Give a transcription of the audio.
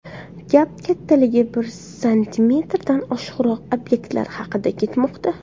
Gap kattaligi bir santimetrdan oshiqroq obyektlar haqida ketmoqda.